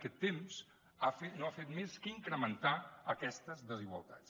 aquest temps no ha fet més que incrementar aquestes desigualtats